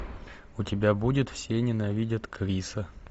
у тебя будет все ненавидят криса